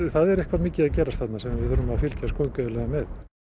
það er eitthvað mikið að gerast þarna sem við verðum að fylgjast gaumgæfilega með